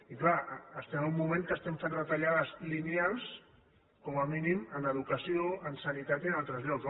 i clar estem en un moment que fem retallades lineals com a mínim en educació en sanitat i en altres llocs